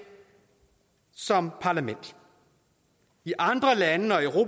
som parlament i andre lande